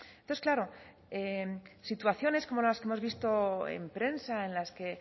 entonces claro situaciones como las que hemos visto en prensa en las que